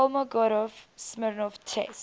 kolmogorov smirnov test